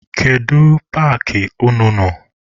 Kedu paakị unu nọ?